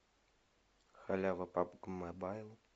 халява пабг мобайл